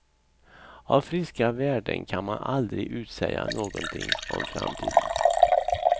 Av friska värden kan man aldrig utsäga någonting om framtiden.